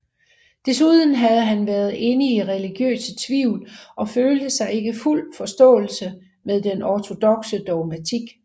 Desuden havde han været inde i religiøse tvivl og følte sig ikke i fuld forståelse med den ortodokse dogmatik